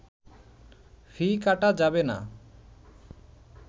ফি কাটা যাবে না